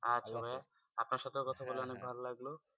আচ্ছা আপনার সাথেও কথা বলে অনেক ভালো লাগলো।